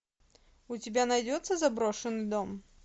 у тебя найдется заброшенный дом